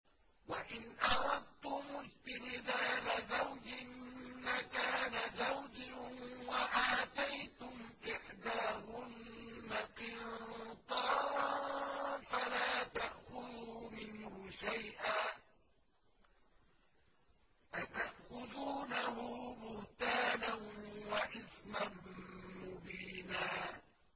وَإِنْ أَرَدتُّمُ اسْتِبْدَالَ زَوْجٍ مَّكَانَ زَوْجٍ وَآتَيْتُمْ إِحْدَاهُنَّ قِنطَارًا فَلَا تَأْخُذُوا مِنْهُ شَيْئًا ۚ أَتَأْخُذُونَهُ بُهْتَانًا وَإِثْمًا مُّبِينًا